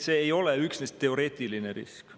See ei ole üksnes teoreetiline risk.